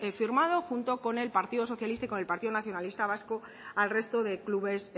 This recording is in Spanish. firmado junto con el partido socialista y con el partido nacionalista vasco al resto de clubes